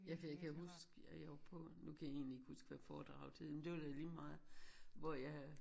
Ja kan jeg kan huske at jeg var på nu kan jeg egentlig ikke huske hvad foredraget hed men det var da ligemeget. Hvor jeg